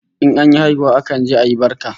In an yi haihuwa akan je ayi barka